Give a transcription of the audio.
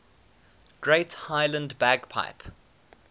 great highland bagpipe